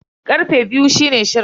Karfe biyu ne shirin.